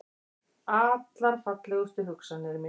Allar fallegustu hugsanir mínar.